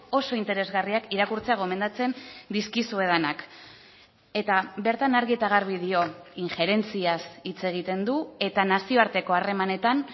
oso interesgarriak irakurtzea gomendatzen dizkizuedanak eta bertan argi eta garbi dio injerentziaz hitz egiten du eta nazioarteko harremanetan